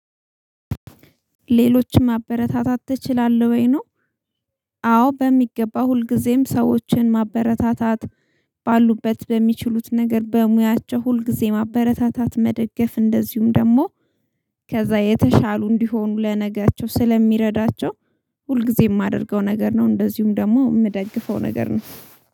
ሌሎችን ማበረታታት አትችላለህ ወይ ነው አዎ በሚገባው ሁልጊዜም ሰዎችን ማበረታታት ባሉበት በሚችሉት ነገር በሙያቸው ሁልጊዜ ማበረታታት መደገፍ እንደዚሁም ደግሞ ከዛ የተሻሉ እንዲሆኑ ለነጋቸው ስለሚረዳቸው ሁልጊዜም የማደርገው ነገር ነው እንደዚሁም ደግሞ የምደግፈው ነገር ነው።